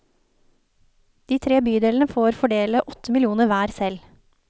De tre bydelene får fordele åtte millioner hver selv.